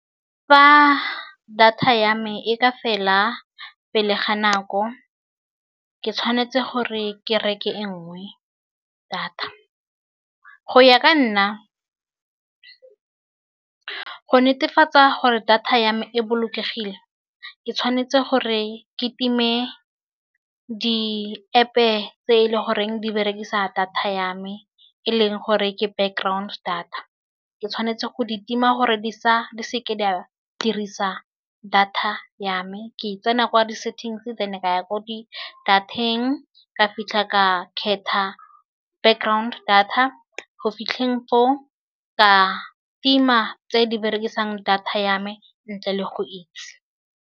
Fa data ya me e ka fela pele ga nako ke tshwanetse gore ke reke e nngwe data. Go ya ka nna go netefatsa gore data ya me e bolokegile. Ke tshwanetse gore ke time di-App- e tse e leng gore di berekisa data ya me e leng gore ke background data. Ke tshwanetse go di tima gore di sa di se ke di a dirisa data ya me. Ke tsena kwa di-settings then ka ya ko di data-eng ka fitlha ka kgetha background data go fitlha teng ka tima tse di berekisang data ya me ntle le go itse.